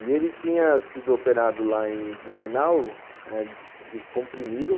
E ele tinha sido operado lá em Blumenau, descomprimiram,